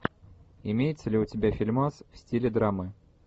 имеется ли у тебя фильмас в стиле драмы